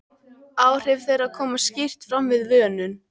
Áhrif þeirra koma skýrt fram við vönun.